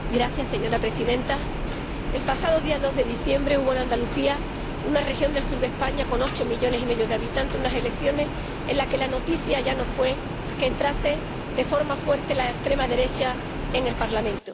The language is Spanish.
Señora presidenta, el pasado día 2 de diciembre hubo en Andalucía, una región del sur de España con ocho millones y medio de habitantes, unas elecciones en las que la noticia ya no fue que entrase de forma fuerte la extrema derecha en el Parlamento